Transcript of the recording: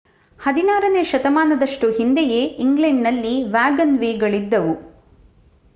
16 ನೇ ಶತಮಾನದಷ್ಟು ಹಿಂದೆಯೇ ಇಂಗ್ಲೆಂಡ್‌ನಲ್ಲಿ ವ್ಯಾಗನ್‌ವೇಗಳಿದ್ದವು